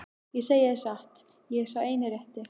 Ég segi það satt, ég er sá eini rétti.